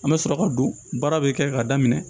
An bɛ sɔrɔ ka don baara bɛ kɛ ka daminɛ